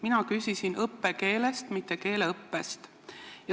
Mina küsisin õppekeele, mitte keeleõppe kohta.